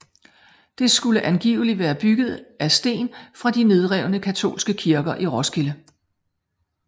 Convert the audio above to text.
Det skulle angiveligt være bygget af sten fra de nedrevne katolske kirker i Roskilde